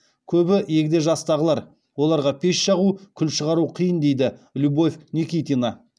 көбі егде жастағылар оларға пеш жағу күл шығару қиын дейді любовь никитина